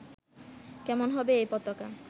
কেমন হবে এ পতাকা